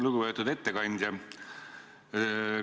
Lugupeetud ettekandja!